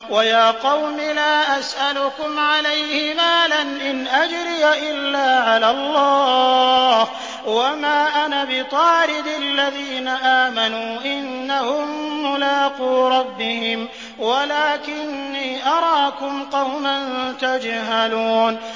وَيَا قَوْمِ لَا أَسْأَلُكُمْ عَلَيْهِ مَالًا ۖ إِنْ أَجْرِيَ إِلَّا عَلَى اللَّهِ ۚ وَمَا أَنَا بِطَارِدِ الَّذِينَ آمَنُوا ۚ إِنَّهُم مُّلَاقُو رَبِّهِمْ وَلَٰكِنِّي أَرَاكُمْ قَوْمًا تَجْهَلُونَ